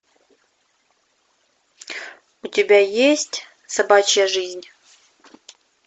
у тебя есть собачья жизнь